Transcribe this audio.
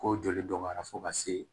Ko joli dɔgɔyara fo ka se